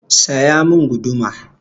Saya mun guduma!